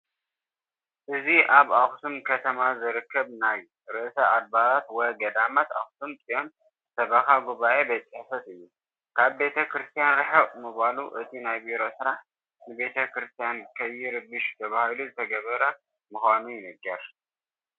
እዚ ኣብ ኣኽሱም ከተማ ዝርከብ ናይ ርእሰ ኣድባራት ወገዳማት ኣኽሱም ፅዮን ሰበኻ ጉባኤ ቤት ፅሕፈት እዩ፡፡ ካብ ቤተ ክርስቲያን ርሕቕ ምባሉ እቲ ናይ ቢሮ ስራሕ ንቤተ ክርስቲያን ከይርብሽ ተባሂሉ ዝተገብረ ምዃኑ ይንገር፡፡